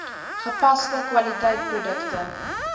gepaste kwaliteit produkte